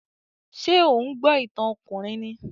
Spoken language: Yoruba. Ṣé ò ń gbọ́ ìtàn ọkùnrin ni?